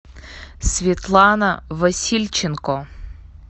светлана васильченко